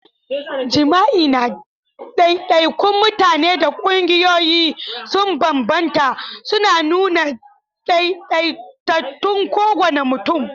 Jima'i na daidaikun mutane da ƙungiyoyi sun bambanta, suna nuna daidaitattun kowane mutum.